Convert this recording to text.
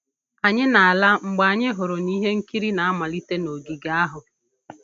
Anyị na-ala mgbe anyị hụrụ ihe nkiri na-amalite n'ogige ahụ